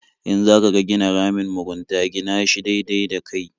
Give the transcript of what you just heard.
In za ka gina ramin mugunta gina shi daidai da kai.